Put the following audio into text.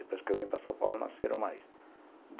Depois que eu vim para São Paulo, nasceram mais.